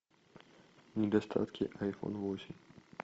недостатки айфон восемь